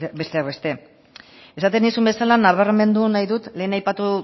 besteak beste esaten nizun bezala nabarmendu nahi dut lehen aipatu